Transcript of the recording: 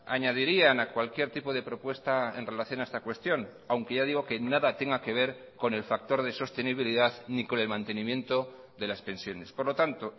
añadirían a cualquier tipo de propuesta en relación a esta cuestión aunque ya digo que nada tenga que ver con el factor de sostenibilidad ni con el mantenimiento de las pensiones por lo tanto